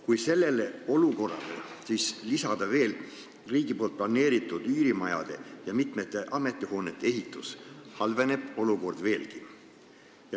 Kui sellele olukorrale lisada riigi planeeritud üürimajade ja mitmete ametihoonete ehitus, halveneb olukord veelgi.